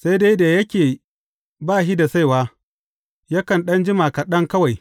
Sai dai da yake ba shi da saiwa, yakan ɗan jima kaɗan kawai.